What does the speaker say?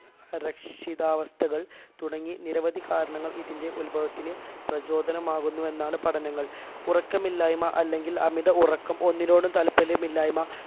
അരക്ഷിതാവസ്ഥകൾ തുടങ്ങി നിരവധി കാരണങ്ങൾ ഇതിന്റെ ഉത്ഭവത്തിന് പ്രചോദനമാകുന്നു എന്നാണ് പഠനങ്ങൾ ഉറക്കമില്ലായ്മ അല്ലെങ്കിൽ അമിത ഉറക്കം ഒന്നിനോടും താല്പര്യമില്ലായ്മ